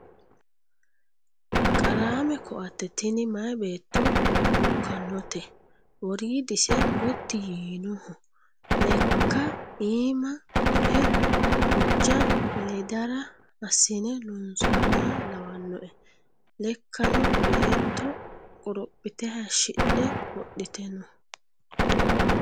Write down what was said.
Qarame koatte tini maayi beetto lukkanote woridise gotti yiinoho lekka iima duhe hoja ledara assine loonsoniha lawanoe lekkano beetto qorophite hayishshidhe wodhite no .